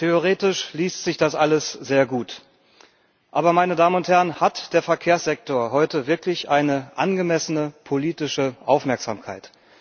Theoretisch liest sich das alles sehr gut. Aber, meine Damen und Herren, hat der Verkehrssektor heute wirklich eine angemessene politische Aufmerksamkeit?